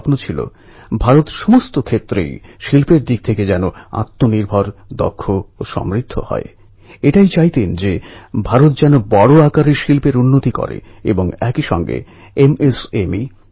আপনারা পণ্ঢরপুরের বিঠোবা মন্দিরে যান ওখানকার মাহাত্ম্য সৌন্দর্য আধ্যাত্মিক আনন্দের এক আলাদা অনুভূতি রয়েছে